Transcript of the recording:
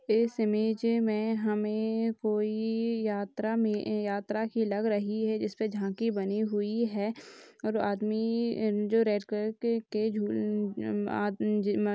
इस इमेज मे हमे कोई यात्रा मे यात्रा की लग रही हैं जिसमे झांकी बनी हुई हैं और आदमी जो रेड कलर के